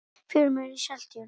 fjörumór í seltjörn